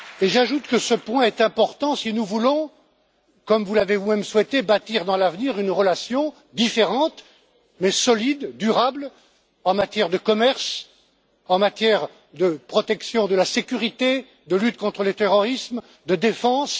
J'ajoute que ce point est important si nous voulons, comme vous l'avez vous même souhaité, bâtir dans l'avenir une relation différente, mais solide et durable, en matière de commerce, en matière de protection de la sécurité, de lutte contre le terrorisme et de défense.